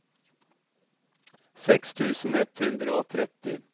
seks tusen ett hundre og tretti